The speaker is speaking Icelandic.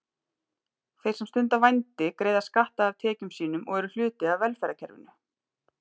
Þeir sem stunda vændi greiða skatta af tekjum sínum og eru hluti af velferðarkerfinu.